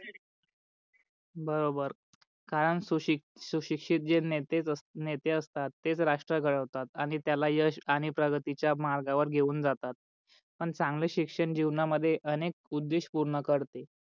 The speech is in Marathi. बरोबर कारण सुशिक्षि सुशिक्षित जे नेते असतात तेच राष्ट्र घडवतात आणि त्याला यश आणि प्रगतीच्या मार्गा वर घेऊन जातात पण चांगले शिक्षण जिवणा मध्ये अनेक उदेश पूर्ण करते.